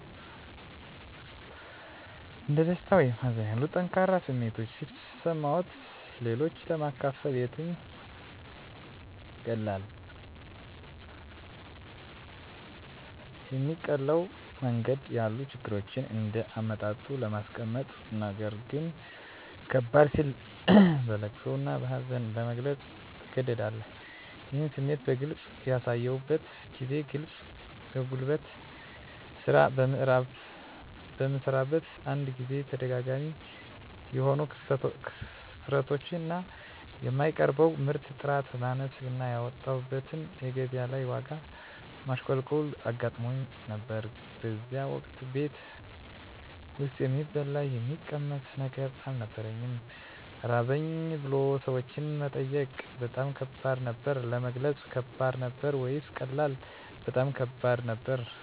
እንደ ደስታ ወይም ሀዘን ያሉ ጠንካራ ስሜቶች ሲሰማዎት-ለሌሎች ለማካፈል የትኛው ይቀላል? የሚቀለው መንገድ ያሉ ችግሮችን እንደ አመጣጡ ለማስቀመጥነገር ግን ከበድ ሲል በለቅሶ እና በሀዘን ለመግለፅ ትገደዳለህ ይህን ስሜት በግልጽ ያሳዩበትን ጊዜ ግለጹ የጉልት ስራ በምሰራበት አንድ ጊዜ ተደጋጋሚ የሆኑ ክስረቶች እና የማቀርበው ምርት ጥራት ማነስ እና ያወጣሁበት እና ገቢያ ላይ የዋጋ ማሽቆልቆል አጋጥሞኝ ነበር በዚያን ወቅት ቤት ውስጥ የሚበላ የሚቀመስ ነገር አልነበረኝም ራበኝ ብሎ ሰዎችን መጠየቅ በጣም ከባድ ነበር። ለመግለጽ ከባድ ነበር ወይስ ቀላል? በጣም ከባድ ነበር